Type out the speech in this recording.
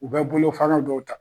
U bɛ bolo fana dɔw ta.